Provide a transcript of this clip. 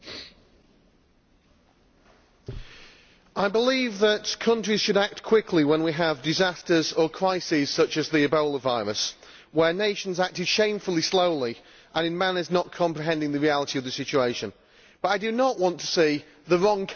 I believe that countries should act quickly when we have disasters or crises such as the Ebola virus, where nations acted shamefully slowly and without comprehending the reality of the situation, but I do not want to see the wrong kind of aid aid which engenders dependence